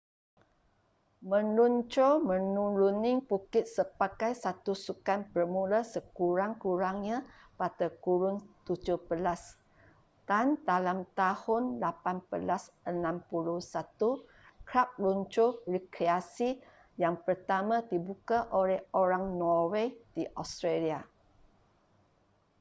meluncur menuruni bukit sebagai satu sukan bermula sekurang-kurangnya pada kurun 17 dan dalam tahun 1861 kelab luncur rekreasi yang pertama dibuka oleh orang norway di australia